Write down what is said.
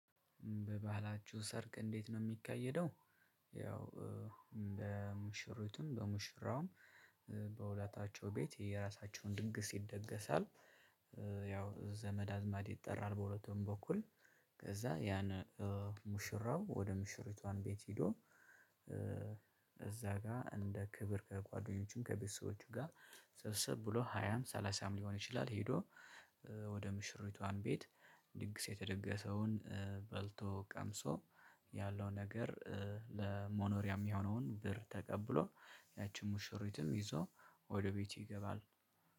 በባህላችሁ ሰርግ እንዴት ነው የሚካሄደው? ያው በሙሽሪትም በሙሽራውም በሁለታቸው ቤት የየራሳቸውን ንግስ ይደገሳል። ያው ዘመድ አዝማድ ይጠራል በሁለቱም በኩል። ከዛ ያን ሙሽራው ወደ ሙሽሪቷ ቤት ሄዶ። እዛ ጋር እንደ ክብር ከጓደኞቹም ከቤተሰቦቹም ጋር ሰብሰብ ብሎ ሃያም ሰላሳም ሊሆን ይችላል ሄዶ። ወደ ሙሽሪቷ ቤት ድግስ የተደገሰውን በልቶ ቀምሶ ያለው ነገር ለመኖሪያ የሚሆነውን ብር ተቀብሎ ያቺን ሙሽሪትም ይዞ ወደ ቤቱ ይገባል።